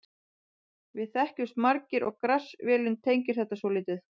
Við þekkjumst margir og Grass-vélin tengir þetta svolítið.